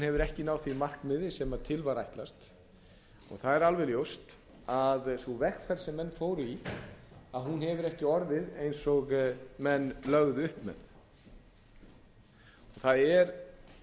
hefur ekki náð því markmiði sem til var ætlast það er alveg ljóst að sú vegferð sem menn fóru í hefur ekki orðið eins og menn lögðu upp með það er